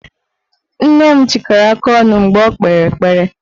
Nne m chịkọrọ aka ọnụ mgbe o kpere ekpere